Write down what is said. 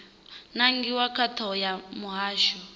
nangiwa nga thoho ya muhasho